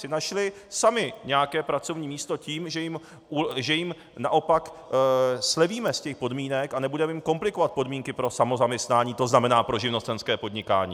si našli sami nějaké pracovní místo tím, že jim naopak slevíme z těch podmínek a nebudeme jim komplikovat podmínky pro samozaměstnání, to znamená pro živnostenské podnikání.